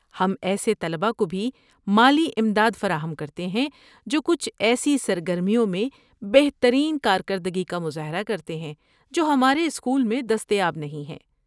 ہم ایسے طلبہ کو بھی مالی امداد فراہم کرتے ہیں جو کچھ ایسی سرگرمیوں میں بہترین کارکردگی کا مظاہرہ کرتے ہیں جو ہمارے اسکول میں دستیاب نہیں ہیں۔